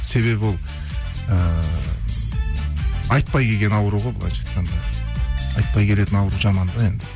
себебі ол ыыы айтпай келген ауру ғой былайынша айтқанда айтпай келетін ауру жаман да енді